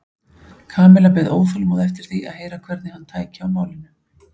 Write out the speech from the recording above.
Kamilla beið óþolinmóð eftir því að heyra hvernig hann tæki á málinu.